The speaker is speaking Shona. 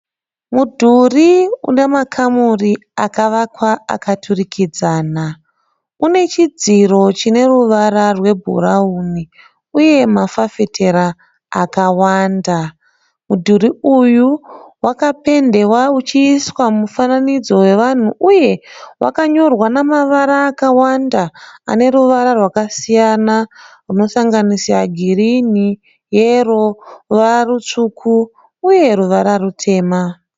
Mudhuri une makamuri akavakwa akaturikidzana. Une chidziro chine ruvara rwebhurauni uye mafafitera akawanda. Mudhuri uyu wakapendewa uchiiswa mufananidzo hwevanhu uye wakanyorwa nemavara akawanda ane ruvara rwakasiyana anosanganisira girini, yero, ruvara rutsvuku uye ruvara rutema.